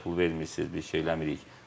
Bizə pul vermirsiz, bir şey eləmirik.